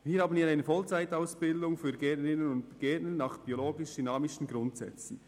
Hier haben wir eine Vollzeitausbildung für Gärtnerinnen und Gärtner nach biologisch-dynamischen Grundsätzen.